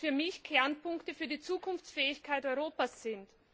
für mich Kernpunkte für die Zukunftsfähigkeit Europas sind.